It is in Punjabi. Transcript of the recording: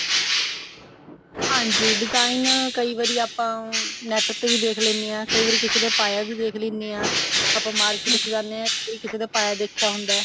ਹਾਂਜੀ design ਕਈ ਵਾਰੀ ਆਪਾਂ net ਤੇ ਵੀ ਦੇਖ ਲੈਂਦੇ ਹਾਂ ਕੇ ਕਈ ਵਾਰੀ ਕਿਸੇ ਦੇ ਪਾਇਆ ਵੀ ਦੇਖ ਸਕਦੇ ਹਾਂ ਆਪਾਂ market ਚ ਜਾਂਦੇ ਹਾਂ ਜਾਂ ਕਿਸੇ ਦੇ ਪਾਇਆ ਦੇਖਿਆ ਹੁੰਦਾ